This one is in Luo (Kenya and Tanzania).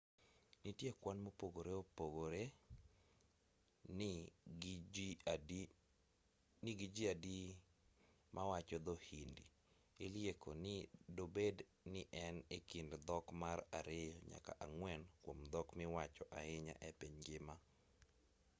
nitiere kwan mopogore opogore ni gi ji adi mawacho dho-hindi ilieko ni dobed ni en e kind dhok mar ariyo nyaka ang'wen kuom dhok miwacho ahinya e piny ngima